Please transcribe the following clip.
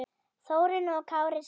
Þórunn og Kári skildu.